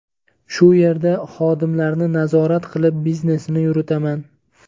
Shu yerda xodimlarni nazorat qilib, biznesini yuritaman.